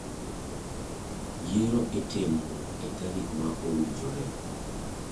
Yiero itimo e tarik ma owinjore.